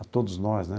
A todos nós, né?